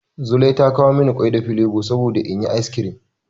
Zulai ta kawo mani ƙwai da filebo saboda in yi ice cream.